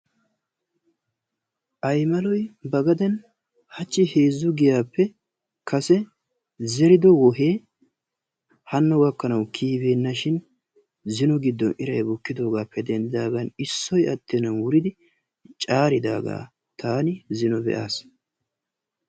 Aymaloy ba gaden hachchi heezzu giyaappe kase zerido wohee hanno gakknawu kiyyi beenashin zino giddon iray bukkidoogappe denddidaagan issoy attennan wuridi caaridaagaa taani zino be'aas.